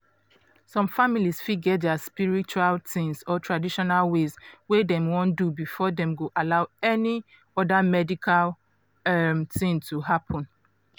some families fit get dia spiritual um or traditional ways wey dem wan do before dem go allow any um medical um tin to happen.